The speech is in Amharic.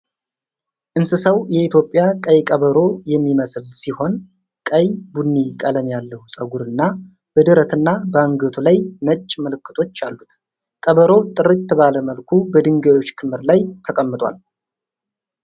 እንስሳው የኢትዮጵያ ቀይ ቀበሮየሚመስል ሲሆን፣ ቀይ ቡኒ ቀለም ያለው ፀጉር እና በደረትና በአንገቱ ላይ ነጭ ምልክቶች አሉት። ቀበሮው ጥርት ባለ መልኩ በድንጋዮች ክምር ላይ ተቀምጧል።